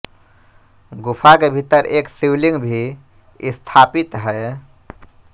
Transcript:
गुफा के भीतर एक शिवलिंग भी स्थापित है